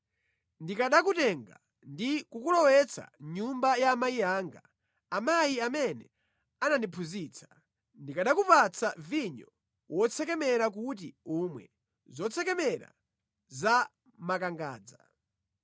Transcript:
Ndikanakutenga ndi kukulowetsa mʼnyumba ya amayi anga, amayi amene anandiphunzitsa, ndikanakupatsa vinyo wotsekemera kuti umwe, zotsekemera za makangadza.